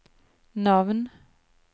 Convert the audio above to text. navn